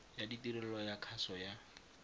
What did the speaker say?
ya tirelo ya kgaso ya